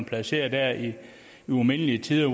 placeret der i umindelige tider